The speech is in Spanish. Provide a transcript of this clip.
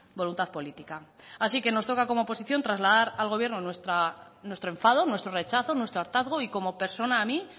voluntad política así que nos toca como oposición trasladar al gobierno nuestro enfado nuestro rechazo nuestro hartazgo y como persona a mí